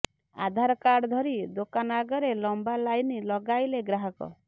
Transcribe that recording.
ଆଧାର card ଧରି ଦୋକାନ ଆଗରେ ଲମ୍ବା ଲାଇନ ଲଗାଇଲେ ଗ୍ରାହକ